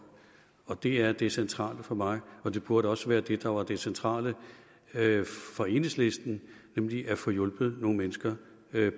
det er det centrale for mig og det burde også være det der var det centrale for enhedslisten nemlig at få hjulpet nogle mennesker